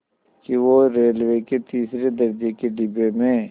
कि वो रेलवे के तीसरे दर्ज़े के डिब्बे में